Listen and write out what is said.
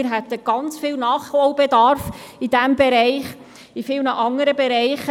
Wir hätten sehr viel Nachholbedarf in diesem Bereich, in vielen anderen Bereichen.